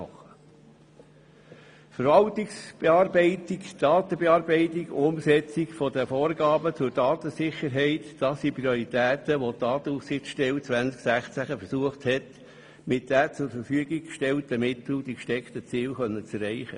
Die Verwaltungsberatung, die Datenbearbeitung und die Umsetzung der Vorgaben zur Datensicherheit waren die Prioritäten, bei welchen die Datenschutzaufsichtsstelle 2016 versucht hat, mit den zur Verfügung gestellten Mitteln die gesteckten Ziele zu erreichen.